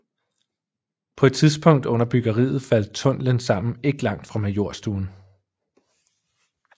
På et tidspunkt under byggeriet faldt tunnelen sammen ikke langt fra Majorstuen